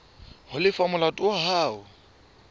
ho lefa molato wa hao